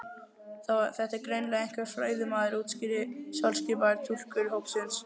Þetta er greinilega einhver fræðimaður útskýrði sjálfskipaður túlkur hópsins.